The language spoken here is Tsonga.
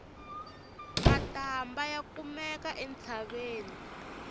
matambha ya kumeka entshaveni